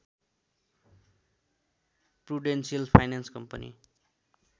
Prudential finance company